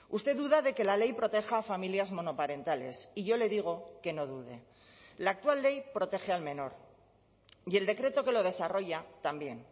usted duda de que la ley proteja a familias monoparentales y yo le digo que no dude la actual ley protege al menor y el decreto que lo desarrolla también